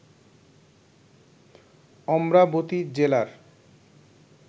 অমরাবতি জেলার